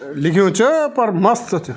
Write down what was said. अ लिख्युं च पर मस्त च।